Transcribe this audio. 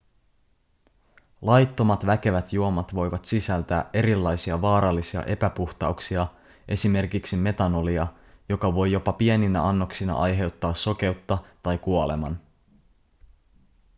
laittomat väkevät juomat voivat sisältää erilaisia vaarallisia epäpuhtauksia esimerkiksi metanolia joka voi jopa pieninä annoksina aiheuttaa sokeutta tai kuoleman